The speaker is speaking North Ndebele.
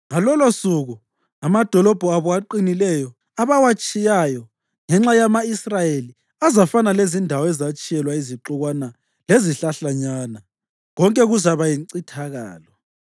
Ngalolosuku amadolobho abo aqinileyo, abawatshiyayo ngenxa yama-Israyeli azafana lezindawo ezatshiyelwa izixukwana lezihlahlanyana. Konke kuzakuba yincithakalo.